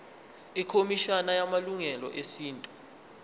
ikhomishana yamalungelo esintu